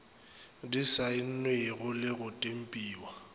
di saennwego le go tempiwa